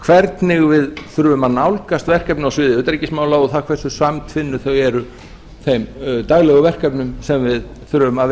hvernig við þurfum að nálgast verkefni á sviði utanríkismála og það hversu samtvinnuð þau eru þeim daglegu verkefnum sem við þurfum að